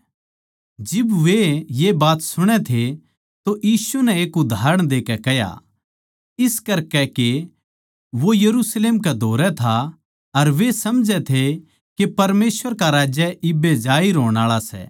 जिब वे ये बात सुणै थे तो यीशु नै एक उदाहरण देकै कह्या इस करकै के वो यरुशलेम कै धोरै था अर वे समझै थे के परमेसवर का राज्य इब्बे जाहिर होण आळा सै